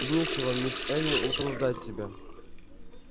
и нечего мисс эллин утруждать себя